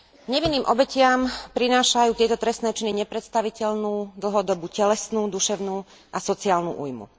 Nevinným obetiam prinášajú tieto trestné činy nepredstaviteľnú dlhodobú telesnú, duševnú a sociálnu ujmu.